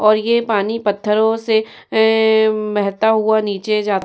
और ये पानी पत्थरों से ए बहता हुआ नीचे जा --